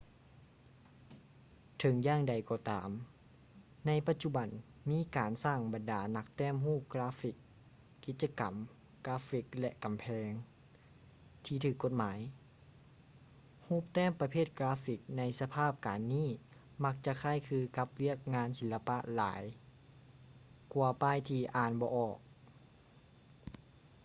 ເຖິງຢ່າງໃດກໍຕາມ ໃນປະຈຸບັນມີການສ້າງບັນດານັກແຕ້ມຮູບກາຟຟິກ ກິດຈະກຳກາຟຟິກ ແລະ ກຳແພງ ທີ່ຖືກກົດໝາຍ ຮູບແຕ້ມປະເພດກາຟຟິກໃນສະພາບການນີ້ມັກຈະຄ້າຍຄືກັບວຽກງານສີລະປະຫຼາຍກວ່າປ້າຍທີ່ອ່ານບໍ່ອອກ